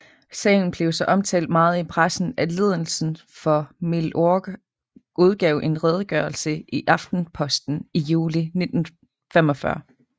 Sagen blev så omtalt meget i pressen at ledelsen for Milorg udgav en redegørelse i Aftenposten i juli 1945